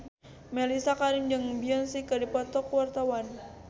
Mellisa Karim jeung Beyonce keur dipoto ku wartawan